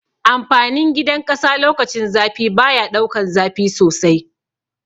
Amfanin gidan ƙasa lokacin zafi baya daukan zafi sosai